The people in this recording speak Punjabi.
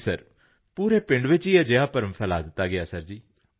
ਜੀ ਸਰ ਪੂਰੇ ਪਿੰਡ ਵਿੱਚ ਅਜਿਹਾ ਭਰਮ ਫੈਲਾਅ ਦਿੱਤਾ ਗਿਆ ਸੀ ਸਰ